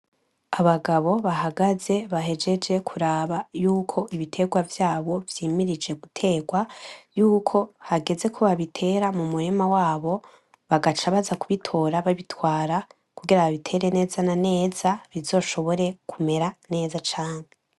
Abagabo bahagaze bahejeje kuraba yuko ibitegwa vyabo vyimirije guterwa yuko hageze ko babitera mumurima wabo , bagaca baza kubitora babitwara kugira babitere neza na neza, bizoshobore kumera neza cane.